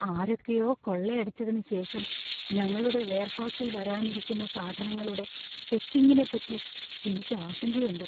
ആരൊക്കെയോ കൊള്ളയടിച്ചതിന് ശേഷം ഞങ്ങളുടെ വെയർഹൌസിൽ വരാനിരിക്കുന്ന സാധനങ്ങളുടെ ചെക്കിംഗിനെപ്പറ്റി എനിക്ക് ആശങ്കയുണ്ട്.